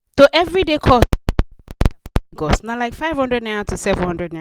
to everyday cos gos na like five hundred naira to seven hundred naira